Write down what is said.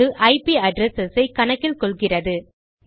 அது IP address ஐ கணக்கில் கொள்கிறது